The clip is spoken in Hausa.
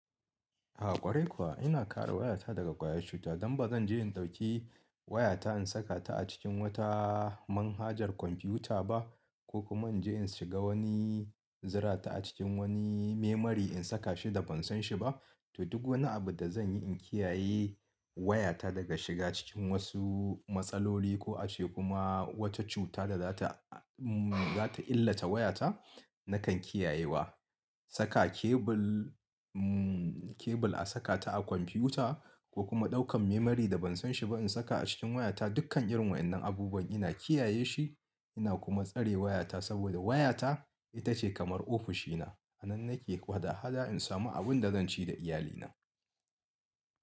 A ƙwarai kuwa ina kare wayata daga ƙwayar cuta don ba zan je in ɗauki wayata in saka ta a cikin wata manhajar kwamfuta ba, ko kuma in je in shiga wani zirata a cikin wani memory in saka shi da ban san shi ba. To duk wani abu da zan yi in kiyaye wayata daga shiga cikin wasu matsaloli ko ace kuma wata cuta da za ta, za ta illata wayata nakan kiyaye wa. Saka kebul, mm kebul a saka ta a kwamfuta komkuma daukan memory da ban san shiba in saka a komfutan, dukan wayannan abubuwan ina kiya ye su ina kuma tsare wayata saboda wayata ita ce kamar ofishina. Anan nake hada hada in samu abin da zan ci da iyalina.